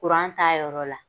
Kuran t'a yɔrɔ la